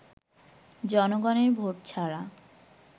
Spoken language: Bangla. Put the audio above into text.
জনগণের ভোট ছাড়া